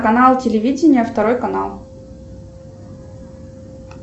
канал телевидение второй канал